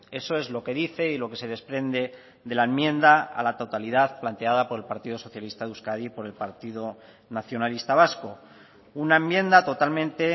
eso es lo que dice y lo que se desprende de la enmienda a la totalidad planteada por el partido socialista de euskadi y por el partido nacionalista vasco una enmienda totalmente